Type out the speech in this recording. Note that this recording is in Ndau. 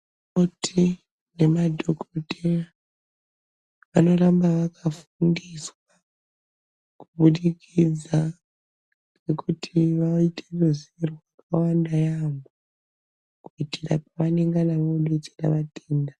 Akoti nemadhokotera vanoramba vakafundiswa, kubudikidza kuti vaite ruzivo rwakawanda yaampho, kuitira pavanengana vodetsera vatenda.